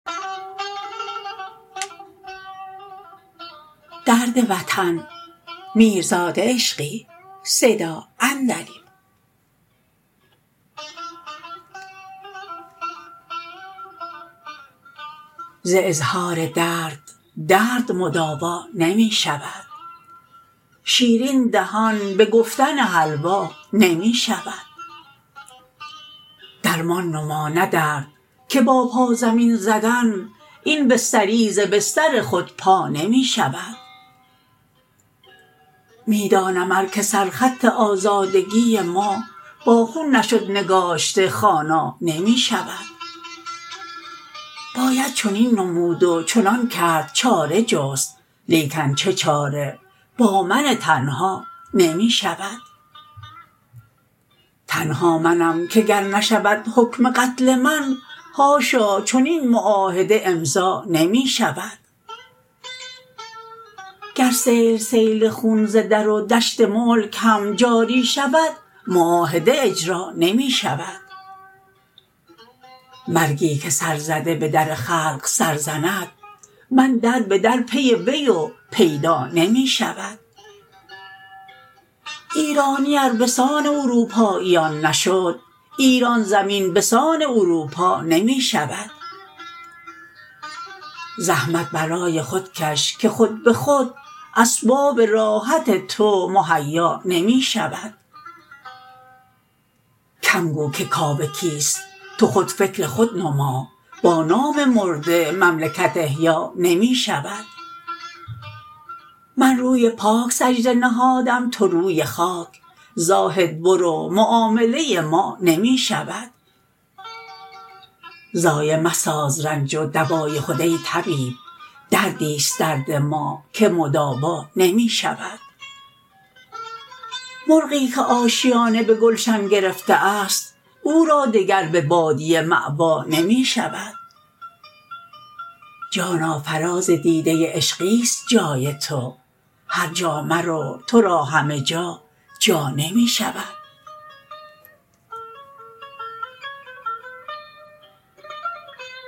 ز اظهار درد درد مداوا نمی شود شیرین دهان به گفتن حلوا نمی شود درمان نما نه درد که با پا زمین زدن این بستری ز بستر خود پا نمی شود می دانم ار که سر خط آزادگی ما با خون نشد نگاشته خوانا نمی شود باید چنین نمود و چنان کرد چاره جست لیکن چه چاره با من تنها نمی شود تنها منم که گر نشود حکم قتل من حاشا چنین معاهده امضا نمی شود گر سیل سیل خون ز در و دشت ملک هم جاری شود معاهده اجرا نمی شود مرگی که سر زده به در خلق سر زند من دربه در پی وی و پیدا نمی شود ایرانی ار به سان اروپاییان نشد ایران زمین به سان اروپا نمی شود زحمت برای خود کش که خود به خود اسباب راحت تو مهیا نمی شود کم گو که کاوه کیست تو خود فکر خود نما با نام مرده مملکت احیا نمی شود من روی پاک سجده نهادم تو روی خاک زاهد برو معامله ما نمی شود ضایع مساز رنج و دوای خود ای طبیب دردی ست درد ما که مداوا نمی شود مرغی که آشیانه به گلشن گرفته است او را دگر به بادیه مأوا نمی شود جانا فراز دیده عشقی است جای تو هرجا مرو ترا همه جا جا نمی شود